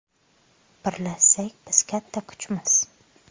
Birlashsak biz katta kuchmiz.